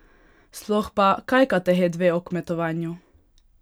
Sploh pa, kaj katehet ve o kmetovanju?